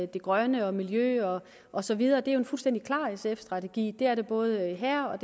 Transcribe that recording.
det grønne og miljø og og så videre er det jo en fuldstændig klar sf strategi det er det både her og